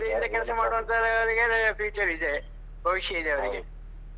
ಶ್ರದ್ದೆಯಿಂದ ಕೆಲಸ ಮಾಡುವಂಥವರಿಗೆ future ಇದೆ ಭವಿಷ್ಯ ಇದೆ ಅವ್ರಿಗೆ.